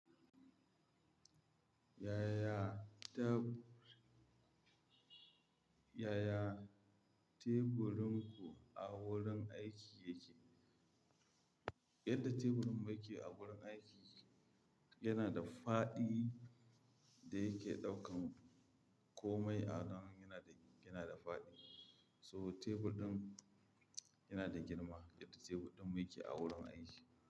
Yaya ta-- yaya teburin ku a wurin aiki yake? Yadda teburin mu yake a wurin aiki yana da fadi da yake ɗaukan komai a nan yana da, yana da fadi. So tebur ɗin yana da girma yadda tebur ɗin mu yake a wurin aiki.